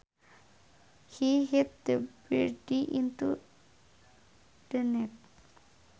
He hit the birdie into the net